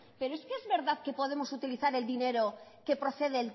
pero es que es verdad que podemos utilizar el dinero que procede